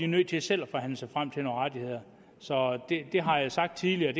nødt til selv at forhandle sig frem til nogle rettigheder så det har jeg sagt tidligere